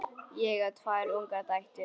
Ég á tvær ungar dætur.